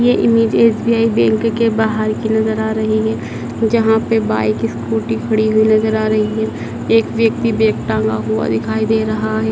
ये image SBI bank के बाहर की नज़र आ रही है जहां पे बाइक स्कूटी खड़ी हुई नज़र आ रही है एक व्यक्ति बैग टांगा हुआ दिखाई दे रहा है।